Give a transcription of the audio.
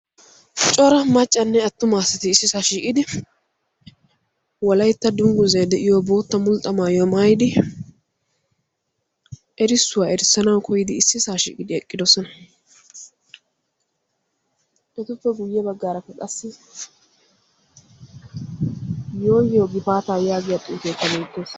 cora maccanne attuma assati issisaa shiiqidi walaytta dungguzay de7iyo bootta mulxxa maayyo maayidi erissuwaa erissanawu koyidi issisaa shiiqidi eqqidosona. etuppe guyye baggaarappe qassi "yooyoo gifaataa" yaagiya xuufeekka beettees.